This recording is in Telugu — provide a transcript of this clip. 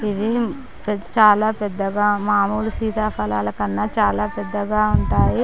ఇవి చాల పెద్దగా మాముళ్లు సీతాఫలాలకన్నా చాల పెద్దగా ఉంటాయి .